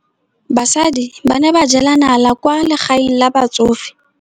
Basadi ba ne ba jela nala kwaa legaeng la batsofe.